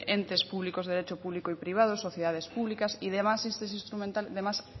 entes públicos de derecho público y privado sociedades públicas y demás